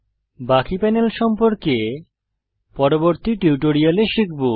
বাকি প্যানেল সম্পর্কে পরবর্তী টিউটোরিয়াল শিখব